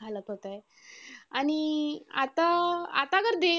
घालत होते आणि अं आता आता तर ते